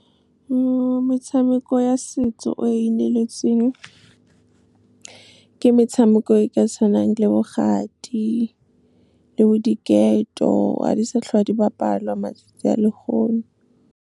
Metshameko ya setso o e neletseng, ke metshameko e ka tshwanang le bo kgati le bo diketo. Ga di sa tlhola di bapalwa matsatsi a le gono. Metshameko ya setso o e neletseng, ke metshameko e ka tshwanang le bo kgati le bo diketo. Ga di sa tlhola di bapalwa matsatsi a le gono.